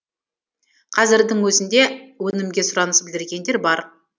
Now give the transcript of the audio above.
қазірдің өзінде өнімге сұраныс білдіргендер бар